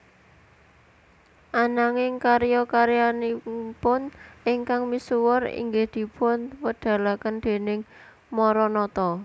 Ananging karya karyanipun ingkang misuwur inggih dipun wedalaken déning Maranatha